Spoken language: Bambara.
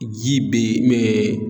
Ji be yen mɛɛ